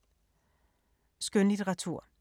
Skønlitteratur